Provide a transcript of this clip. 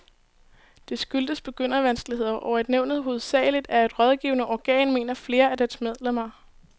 Det skyldes begyndervanskeligheder, og at nævnet hovedsageligt er et rådgivende organ, mener flere af dets medlemmer.